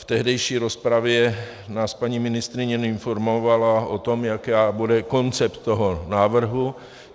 V tehdejší rozpravě nás paní ministryně informovala o tom, jaký bude koncept toho návrhu.